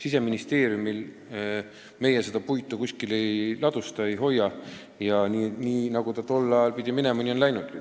Siseministeerium seda puitu kuskil ei ladusta ja nii nagu see pidi minema, nii on see ka läinud.